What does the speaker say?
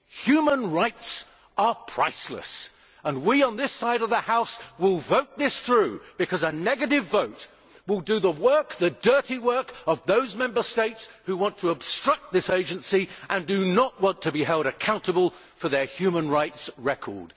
Human rights are priceless, and we on this side of the House will vote this through, because a negative vote will do the dirty work of those Member States that want to obstruct this Agency and do not want to be held accountable for their human rights record.